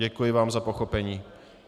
Děkuji vám za pochopení.